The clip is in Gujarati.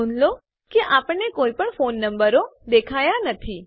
નોંધ લો કે આપણને કોઈપણ ફોન નંબરો દેખાયા નથી